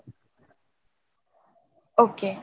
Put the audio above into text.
okay